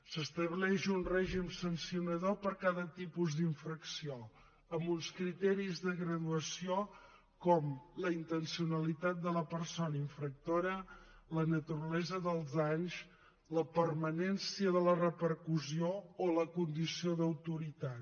s’estableix un règim sancionador per a cada tipus d’infracció amb uns criteris de graduació com la intencionalitat de la persona infractora la naturalesa dels danys la permanència de la repercussió o la condició d’autoritat